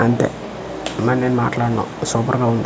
అంతే అమ్మా నేను మాట్లాడ్ను సూపర్ గా ఉంది.